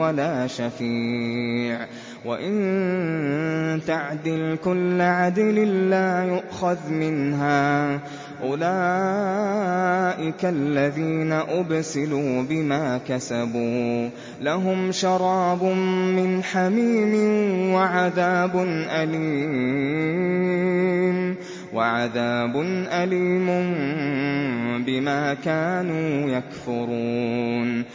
وَلَا شَفِيعٌ وَإِن تَعْدِلْ كُلَّ عَدْلٍ لَّا يُؤْخَذْ مِنْهَا ۗ أُولَٰئِكَ الَّذِينَ أُبْسِلُوا بِمَا كَسَبُوا ۖ لَهُمْ شَرَابٌ مِّنْ حَمِيمٍ وَعَذَابٌ أَلِيمٌ بِمَا كَانُوا يَكْفُرُونَ